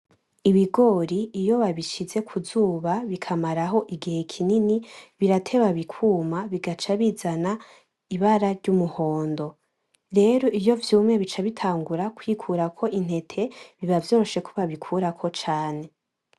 Ibigori iyo babishize kuzuba bikamaraho igihe kinini birateba bikwuma bigaca bizana ibara ry’umuhondo, rero iyo vyumye bica bitangura kwikurako intete, biba vyoroshe ko babikurako cane.